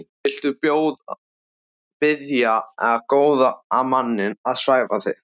Viltu biðja góða manninn að svæfa þig?